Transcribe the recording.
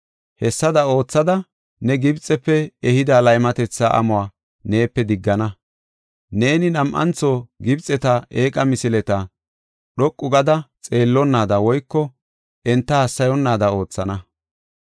Hessada oothada, ne Gibxefe ehida laymatetha amuwa neepe diggana. Neeni nam7antho Gibxeta eeqa misileta dhoqu gada xeellonnaada woyko enta hassayonnaada oothana.”